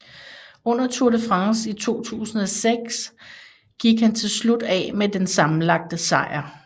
Under Tour de France i 2006 gik han til slut af med den sammenlagte sejr